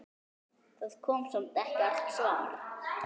Það kom samt ekkert svar.